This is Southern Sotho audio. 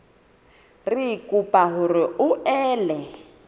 re kopa hore o ele